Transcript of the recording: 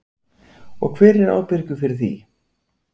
Og hver er ábyrgur fyrir því?